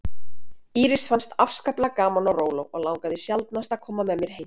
Írisi fannst afskaplega gaman á róló og langaði sjaldnast að koma með mér heim.